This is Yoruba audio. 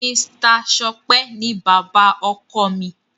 Mr Sope ní bàbá ọkọ mí